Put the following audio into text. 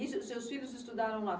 E seus filhos estudaram lá?